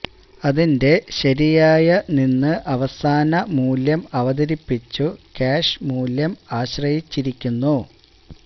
അതിന്റെ ശരിയായ നിന്ന് അവസാന മൂല്യം അവതരിപ്പിച്ചു ക്യാഷ് മൂല്യം ആശ്രയിച്ചിരിക്കുന്നു